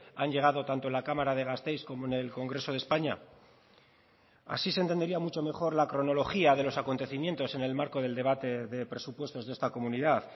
han llegado tanto en la cámara de gasteiz como en el congreso de españa así se entendería mucho mejor la cronología de los acontecimientos en el marco del debate de presupuestos de esta comunidad